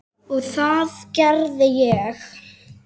Og það gerði ég.